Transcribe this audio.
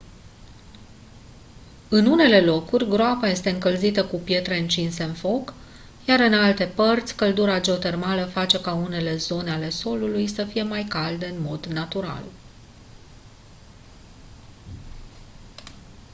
în unele locuri groapa este încălzită cu pietre încinse în foc iar în alte părți căldura geotermală face unele zone ale solului să fie calde în mod natural